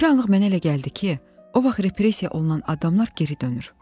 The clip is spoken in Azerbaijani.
Bir anlıq mənə elə gəldi ki, o vaxt repressiya olunan adamlar geri dönür.